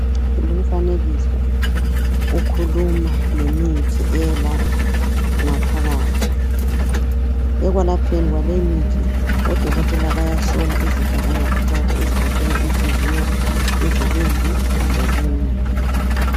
Lumfanekiso ukhuluma ngemithi eyelapha ngaphakathi. Ekwelapheni kwaleyimithi odokotela bayahlola izitho zangaphakathi ezigoqela inhliziyo, izibindi lokunye.